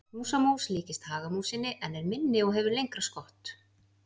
Húsamús líkist hagamúsinni en er minni og hefur lengra skott.